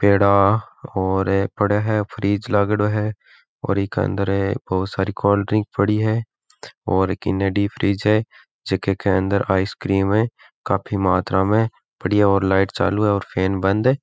पेड़ा और पड़ा है फ्रिज लागेडो है और ईके अंदर बहुत सारी कोल्डड्रिंक पड़ी है और फ्रिज है जीके के अंदर आइसक्रीम है काफी मात्रा में बढ़िया और लाइट चालू है और फैन बंद है।